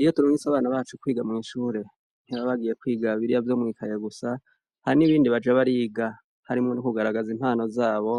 Iyo turungitse abana bacu kwiga mw'ishure ntibaba bagiye kwiga biriya vyo mw'ikaye gusa, hari n'ibindi baja bariga. Harimwo n'ukugaragaza impano zabo